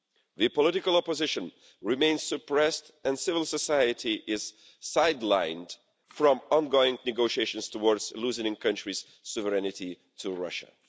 The political opposition remains suppressed, and civil society is sidelined from ongoing negotiations towards losing the countries' sovereignty to Russia.